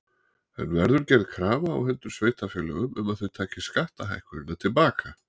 En verður gerð krafa á hendur sveitarfélögum um að þau taki skattahækkunina til baka?